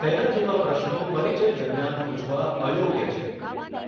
તેના જેવા પ્રશ્નો પરિચય દરમિયાન પૂછવા અયોગ્ય છે.